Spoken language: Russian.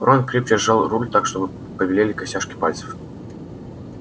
рон крепче сжал руль так что побелели костяшки пальцев